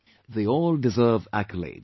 They all deserve accolades